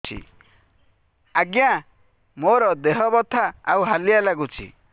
ଆଜ୍ଞା ମୋର ଦେହ ବଥା ଆଉ ହାଲିଆ ଲାଗୁଚି